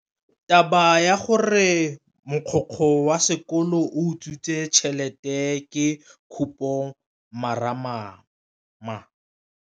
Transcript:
Taba ya gore mogokgo wa sekolo o utswitse tšhelete ke khupamarama.